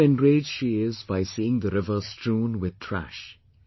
How enraged she is by seeing the river strewn with trash